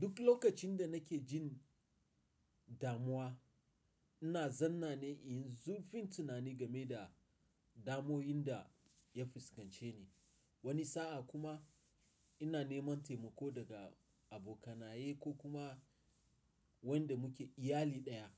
Duk lokacin da nake jin damuwa, ina zanna ne in zurfin tunani game da damoyin da ya fuskance ni, wani sa'a kuma ina neman taimako daga abokanaye ko kuma wanda muke iyali daya.